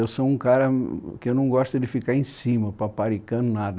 Eu sou um cara que não gosta de ficar em cima, paparicano, nada.